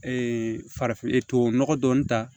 farafinnɔgɔ dɔɔnin ta